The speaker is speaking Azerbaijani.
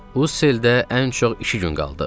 Uzeldə ən çox iki gün qaldıq.